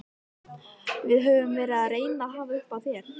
Við höfum verið að reyna að hafa upp á þér.